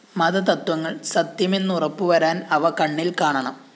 മതതത്ത്വങ്ങള്‍ സത്യമെന്നുറപ്പുവരാന്‍ അവ കണ്ണില്‍ കാണണം